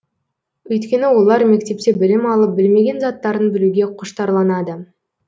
өйткені олар мектепте білім алып білмеген заттарын білуге құштарланады